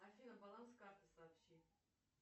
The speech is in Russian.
афина баланс карты сообщи